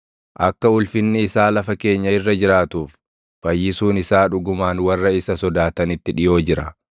Akka ulfinni isaa lafa keenya irra jiraatuuf, fayyisuun isaa dhugumaan warra isa sodaatanitti dhiʼoo jira.